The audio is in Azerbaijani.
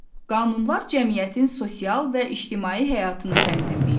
Qanunlar cəmiyyətin sosial və ictimai həyatını tənzimləyir.